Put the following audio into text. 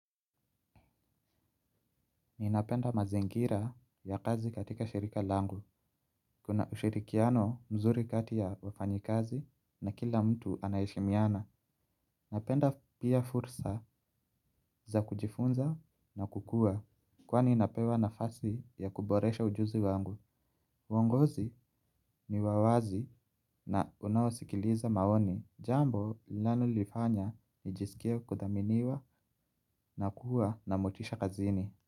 Ninapenda mazingira ya kazi katika shirika langu. Kuna ushirikiano mzuri kati ya wafanyikazi na kila mtu anaheshimiana. Napenda pia fursa za kujifunza na kukuwa kwani napewa nafasi ya kuboresha ujuzi wangu. Uongozi ni wa wazi na unaosikiliza maoni. Jambo linalonifanya nijisikie kudhaminiwa na kuwa na motisha kazini.